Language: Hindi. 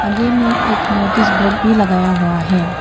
में एक नोटिस बोर्ड भी लगाया हुआ है।